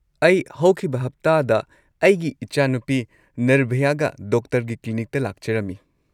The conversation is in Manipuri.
ꯑꯩ ꯍꯧꯈꯤꯕ ꯍꯞꯇꯥꯗ ꯑꯩꯒꯤ ꯢꯆꯥꯅꯨꯄꯤ ꯅꯤꯔꯚꯌꯥꯒ ꯗꯣꯛꯇꯔꯒꯤ ꯀ꯭ꯂꯤꯅꯤꯛꯇ ꯂꯥꯛꯆꯔꯝꯃꯤ꯫